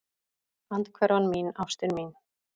Andhverfan mín, ástin mín.